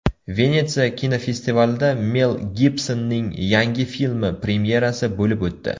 Venetsiya kinofestivalida Mel Gibsonning yangi filmi premyerasi bo‘lib o‘tdi.